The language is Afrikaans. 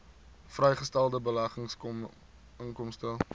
vrygestelde beleggingsinkomste